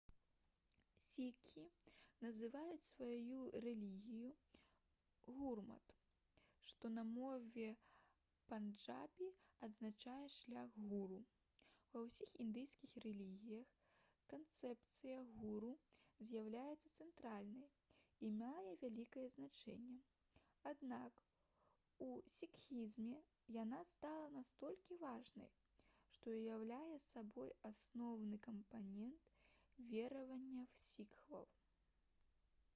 сікхі называюць сваю рэлігію гурмат што на мове панджабі азначае «шлях гуру». ва ўсіх індыйскіх рэлігіях канцэпцыя гуру з'яўляецца цэнтральнай і мае вялікае значэнне аднак у сікхізме яна стала настолькі важнай што ўяўляе сабой асноўны кампанент вераванняў сікхаў